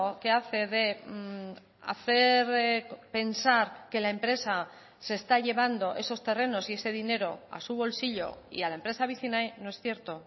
que hace de hacer pensar que la empresa se está llevando esos terrenos y ese dinero a su bolsillo y a la empresa vicinay no es cierto